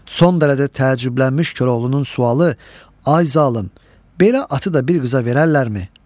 Son dərəcə təəccüblənmiş Koroğlunun sualı: Ay zalım, belə atı da bir qıza verərlərmi?